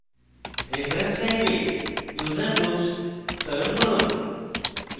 reference type এ user groups চয়ন করুন